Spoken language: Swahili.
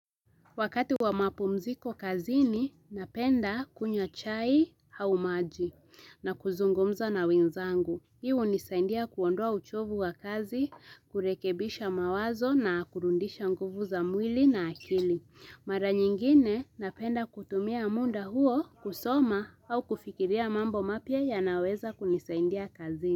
Wakati wa mapumziko kazini, napenda kunywa chai au maji na kuzungumza na wenzangu. Hii hunisaindia kuondoa uchovu wa kazi, kurekebisha mawazo na kurudisha nguvu za mwili na akili. Mara nyingine napenda kutumia muda huo kusoma au kufikiria mambo mapya yanaweza kunisaidia kazini.